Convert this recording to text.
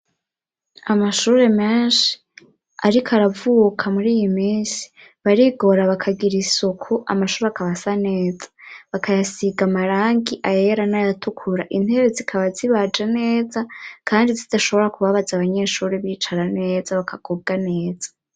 Amashuri menshi ,ariko aravuka muri iyi minsi barigora bakagira isoku amashuri akabasaneza bakayasiga marangi ayera n 'ayatukura, intebe zikaba zibaje neza ,kandi zitoshobora kubabaza ,abanyeshuri bicara neza bakakubwa neza.